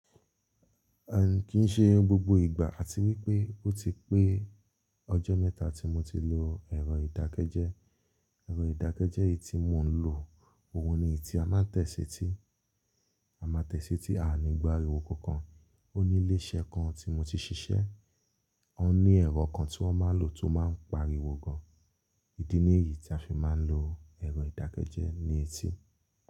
Ẹ kì í n ṣe gbogbo ìgbà àti wípé ó ti pé ọjọ́ mẹ́ta tí mo ti lò ẹ̀rọ ìdákẹ́jẹ́. Ẹ̀rọ ìdákẹ́jẹ́ yìí tí mò ń lò, òun ni èyí tí a máa ń tẹ́ se ti. A máa tẹ́tí sí, a ni gba ariwo kankan. Ó ní ilé iṣẹ́ kan tí mo ti ṣiṣẹ́, wọ́n ní ẹ̀rọ kan tí wọ́n máa ń lò tó máa ń pariwo gan. Ídí nìyí tí a fi máa ń lo ẹ̀rọ ìdákẹ́jẹ́ ní etí.